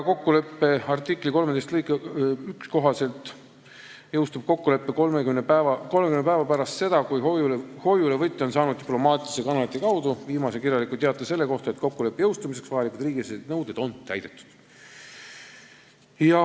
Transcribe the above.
Kokkuleppe artikli 13 lõike 1 kohaselt jõustub kokkulepe 30 päeva pärast seda, kui hoiulevõtja on saanud diplomaatilise kanalite kaudu viimase kirjaliku teate selle kohta, et kokkuleppe jõustumiseks vajalikud riigisisesed nõuded on täidetud.